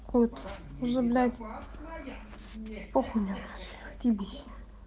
кот похудел